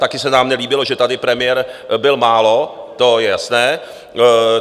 Taky se nám nelíbilo, že tady premiér byl málo, to je jasné.